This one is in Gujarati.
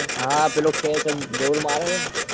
હા પેલો ખેંચ આમ જોર મારે છે